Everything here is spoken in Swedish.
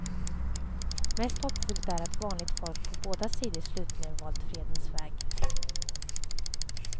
Mest hoppfullt är att vanligt folk på båda sidor slutligen valt fredens väg.